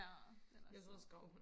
ja den er sød